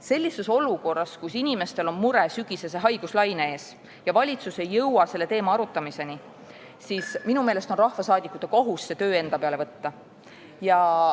" Sellises olukorras, kus inimestel on mure sügisese haiguslaine ees ja valitsus ei jõua selle teema arutamiseni, on minu meelest rahvasaadikute kohus see töö enda peale võtta.